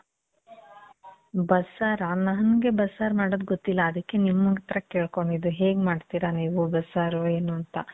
ಬಸ್ಸಾರ? ನನ್ಗೆ ಬಸ್ಸಾರ್ ಮಾಡೋದ್ ಗೊತ್ತಿಲ್ಲ. ಅದಕ್ಕೆ ನಿಮ್ ಹತ್ರ ಕೇಳ್ಕೊಂಡಿದ್ದು. ಹೇಗ್ ಮಾಡ್ತೀರ ನೀವು ಬಸ್ಸಾರು ಏನು ಅಂತ.